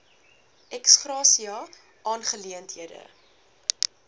ex gratia aangeleenthede